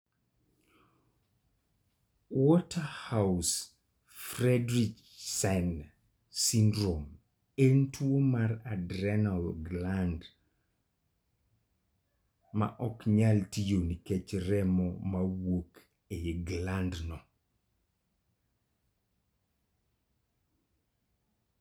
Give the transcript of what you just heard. Waterhouse-Friderichsen syndrome en tuwo mar adrenal gland ma ok nyal tiyo nikech remo ma wuok e glandno.